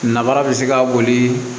Nara bɛ se ka boli